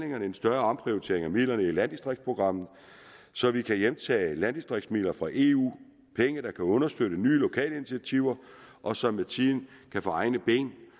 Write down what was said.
en større omprioritering af midlerne i landdistriktsprogrammet så vi kan hjemtage landdistriktsmidler fra eu penge der kan understøtte nye lokale initiativer og som med tiden kan få egne ben